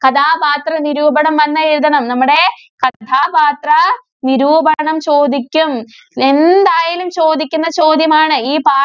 കഥാപാത്രനിരൂപണം വന്നാ എഴുതണം. നമ്മടെ കഥാപാത്ര നിരൂപണം ചോദിക്കും. എന്തായാലും ചോദിക്കുന്ന ചോദ്യമാണ്. ഈ പാ~